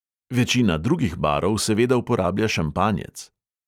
Večina drugih barov seveda uporablja šampanjec.